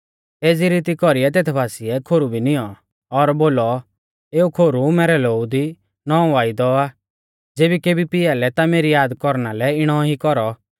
एज़ी रीती कौरीऐ तेथ बासिऐ खोरु भी निऔं और बोलौ एऊ खोरु मैरै लोऊ दी नौंवौ वायदौ आ ज़ेबी केबी पियालै ता मेरी याद कौरना लै इणौ ई कौरौ